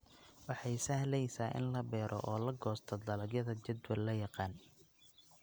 Waxay sahlaysa in la beero oo la goosto dalagyada jadwal la yaqaan.